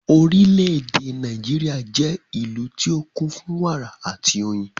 Orílédé Nàìjíríà jẹ́ ìlú tí ó kún fún wàrà àti oyin